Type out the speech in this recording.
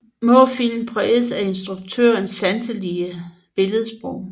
Små film præget af instruktørens sanselige billedsprog